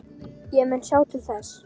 Ég mun sjá til þess.